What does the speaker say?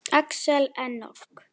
Axel Enok.